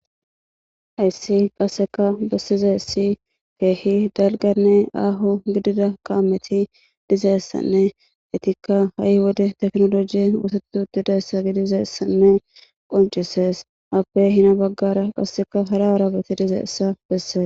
Hayssi qasseka bessize essi keehi dalganne aaho gidida kaameti dizeessanne itikka ha7i wode teknolojie woteutidayssa gidizeessanne qoncisees appe hina baggara qasseka hara arabeti dizeessa besse.